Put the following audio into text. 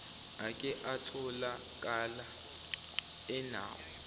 ake atholakala enawo